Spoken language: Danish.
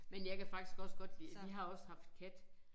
Men jeg kan faktisk også godt lide vi har også haft kat